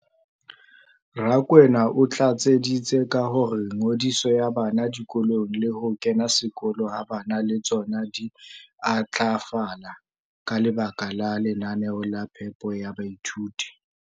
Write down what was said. Rakwena o tlatseditse ka hore ngodiso ya bana dikolong le ho kena sekolo ha bana le tsona di a ntlafala ka lebaka la lenaneo la phepo ya baithuti.